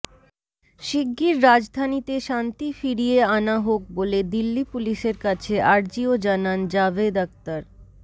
শিগিগির রাজধানীতে শান্তি ফিরিয়ে আনা হোক বলে দিল্লি পুলিসের কাছে আর্জিও জানান জাভেদ আখতার